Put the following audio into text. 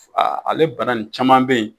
ale bana nin caman bɛ ye.